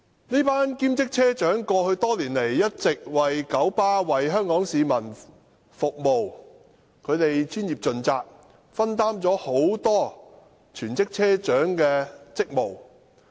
這群兼職車長過去多年來一直為九巴和香港市民服務，他們專業盡責，分擔了很多全職車長的職務。